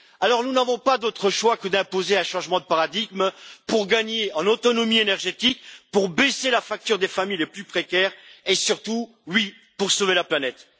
Alors nous n'avons pas d'autre choix que d'imposer un changement de paradigme pour gagner en autonomie énergétique, pour faire baisser la facture des familles les plus précaires et surtout, oui, pour sauver la planète.